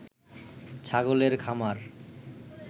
ছাগলের খামার